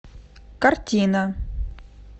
картина